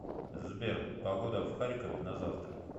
сбер погода в харькове на завтра